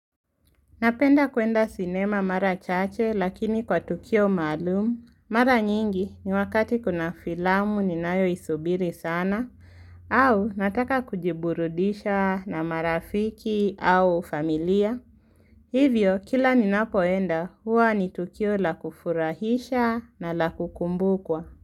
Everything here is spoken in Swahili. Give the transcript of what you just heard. Napenda kuenda sinema mara chache lakini kwa tukio malumu. Mara nyingi ni wakati kuna filamu ni nayo isubiri sana au nataka kujiburudisha na marafiki au familia. Hivyo kila ni napoenda huwa ni tukio la kufurahisha na la kukumbukwa.